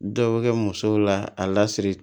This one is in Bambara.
Dɔw bɛ kɛ musow la a lasiri